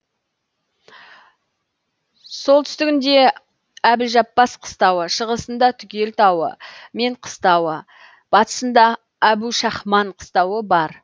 солтүстігінде әбілжаппас қыстауы шығысында түгел тауы мен қыстауы батысында әбушахман қыстауы бар